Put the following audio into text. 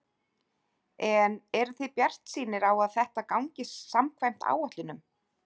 En eruð þið bjartsýnir á að þetta gangi samkvæmt áætlunum?